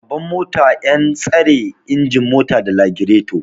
Gaban mota yan tsare ingin mota da lagireto